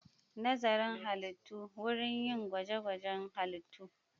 Nazarin Halittu: Wurin yin gwaje-gwajen halittu.